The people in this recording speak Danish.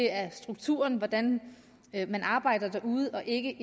er strukturen i hvordan man arbejder derude og ikke